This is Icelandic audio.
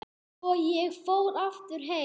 Svo ég fór aftur heim.